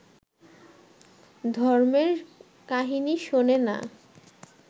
ধর্মের কাহিনী শোনে না